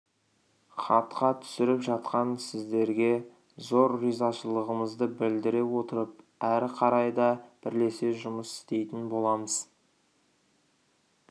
хатқа түсіріп жатқан сіздерге зор ризашылығымызды білдіре отырып әрі қарай да бірлесе жұмыс істейтін боламыз